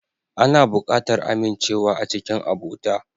Ana buƙatar amincewa a cikin abota.